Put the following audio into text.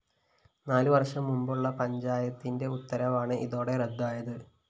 നാലു വര്‍ഷം മുന്‍പുള്ള പഞ്ചായത്തിന്റെ ഉത്തരവാണ് ഇതോടെ റദ്ദായത്